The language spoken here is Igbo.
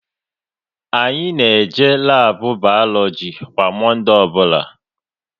Anyị na-eje labu Balogi kwa Monde ọbụla